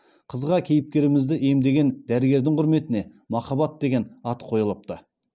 қызға кейіпкерімізді емдеген дәрігердің құрметіне махаббат деген ат қойылыпты